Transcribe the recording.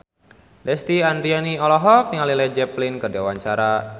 Lesti Andryani olohok ningali Led Zeppelin keur diwawancara